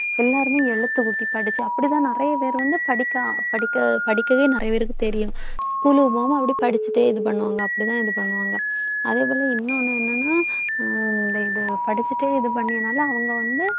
எல்லாருமே எழுத்து கூட்டி படிச்சு அப்படிதான் நிறைய பேர் வந்து படிக்கா~ படிக்க~ படிக்கவே நிறைய பேருக்கு தெரியும் school க்கு போகாம அப்படியே படிச்சுட்டே இது பண்ணுவாங்க அப்படித்தான் இது பண்ணுவாங்க அதே போல இன்னொன்னு என்னன்னா அஹ் இந்த இதை படிச்சுட்டு இது பண்ணினால அவங்க வந்து